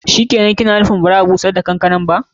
Shikenan, ki na nufin ba'a bushar da kankana.